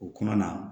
O kɔnɔna na